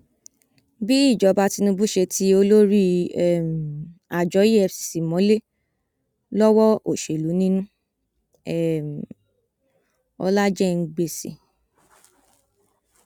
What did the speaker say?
bí ìjọba tinubu ṣe ti olórí um àjọ efcc mọlẹ lọwọ òsèlú nínú um ọlájẹngbẹsì